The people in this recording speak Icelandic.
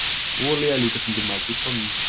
olía er líka stundum mæld í tonnum